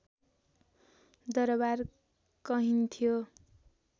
दरवार कहिन्थ्यो